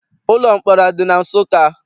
Ụlọ mkpọrọ adị na Nsụka?